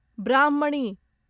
ब्राह्मणी